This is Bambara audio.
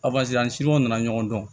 an siw nana ɲɔgɔn dɔn